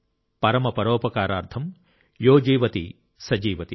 పరమ పరోపకారార్థం యో జీవతి స జీవతి